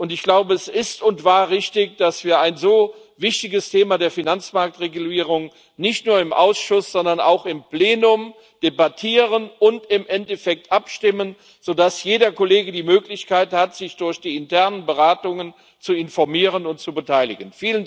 Ich glaube, es ist und war richtig, dass wir ein so wichtiges Thema der Finanzmarktregulierung nicht nur im Ausschuss, sondern auch im Plenum debattieren und im Endeffekt darüber abstimmen, sodass jeder Kollege die Möglichkeit hat, sich durch die internen Beratungen zu informieren und zu beteiligen.